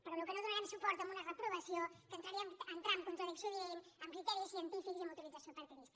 però no donarem suport a una reprovació que entra en contradicció evident amb criteris científics i amb utilització partidista